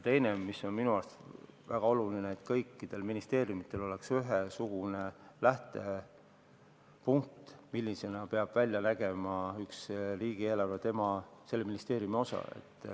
Teine asi, mis on minu meelest väga oluline: et kõikidel ministeeriumidel oleks ühesugune lähtepunkt, milline peab välja nägema selle ministeeriumi osa riigieelarves.